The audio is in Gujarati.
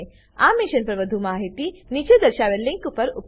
આ મિશન પર વધુ માહિતી નીચે દર્શાવેલ લીંક પર ઉપલબ્ધ છે